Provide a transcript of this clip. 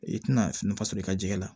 I tɛna nafa sɔrɔ i ka jɛgɛ la